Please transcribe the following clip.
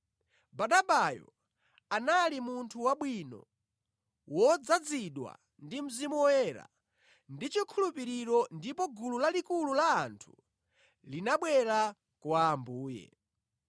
Barnabayo anali munthu wabwino, wodzazidwa ndi Mzimu Woyera ndi chikhulupiriro ndipo gulu lalikulu la anthu linabwera kwa Ambuye.